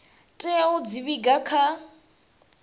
tea u dzi vhiga kha